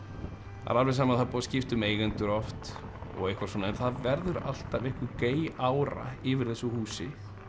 það er alveg sama það er búið að skipta um eigendur oft og eitthvað svona en það verður alltaf einhver ára yfir þessu húsi